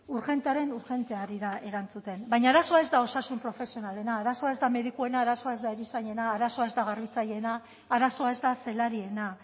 urgentearen urgente ari da erantzuten baina arazoa ez da osasun profesionalena arazoa ez da medikuen arazoa ez da erizainena arazoa ez da garbitzaileena arazoa ez da zelariena